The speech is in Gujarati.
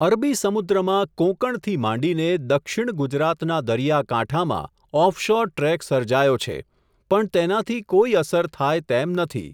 અરબી સમુદ્રમાં કોંકણથી માંડીને, દક્ષિણ ગુજરાતના દરિયાકાંઠામાં ઓફશોર ટ્રેક સર્જાયો છે, પણ તેનાથી કોઇ અસર થાય તેમ નથી.